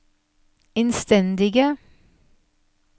innstendige